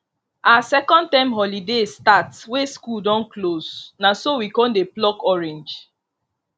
as second term holiday start wey school don close na so we con dey pluck orange